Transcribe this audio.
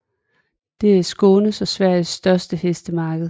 Det er Skånes og Sveriges størte hestemarked